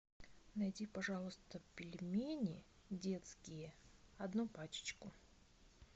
найди пожалуйста пельмени детские одну паческу